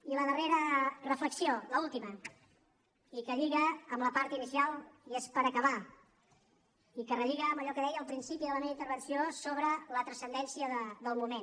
i la darrera reflexió l’última i que lliga amb la part inicial i és per acabar i que relliga amb allò que deia al principi de la meva intervenció sobre la transcendència del moment